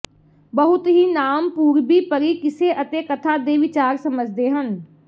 ਬਹੁਤ ਹੀ ਨਾਮ ਪੂਰਬੀ ਪਰੀ ਕਿੱਸੇ ਅਤੇ ਕਥਾ ਦੇ ਵਿਚਾਰ ਸਮਝਦੇ ਹਨ